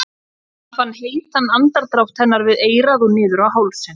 Hann fann heitan andardrátt hennar við eyrað og niður á hálsinn.